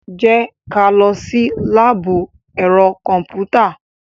Jẹ́ ká lọ sí láàbù ẹ̀rọ kọ̀m̀pútà.